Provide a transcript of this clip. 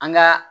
An ga